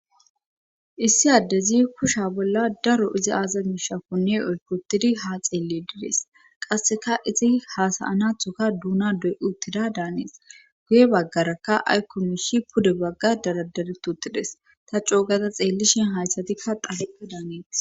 Issi addezi kusha bolla daro izi aaza miishakoni oykotidi ha xeelledides qasseka izi hasayanathoka duuna doy uttida daanees guye baggarakka aykkomishi pude bagga daradari tutides ta coogaza xeellishin hayssatikka qafeqqa daaneeti.